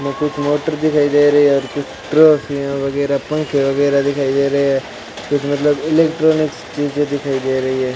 और कुछ मोटर दिखाई दे रही है और चित्र वगैरह पंखे वगैरह दिखाई दे रहे हैं कुछ मतलब इलेक्ट्रॉनिक्स चीजें दिखाई दे रही है।